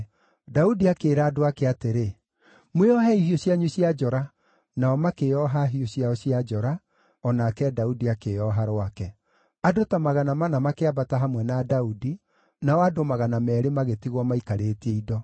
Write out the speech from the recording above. Daudi akĩĩra andũ ake atĩrĩ, “Mwĩohei hiũ cianyu cia njora!” Nao makĩĩoha hiũ ciao cia njora, o nake Daudi akĩĩoha rwake. Andũ ta magana mana makĩambata hamwe na Daudi, nao andũ magana meerĩ magĩtigwo maikarĩtie indo.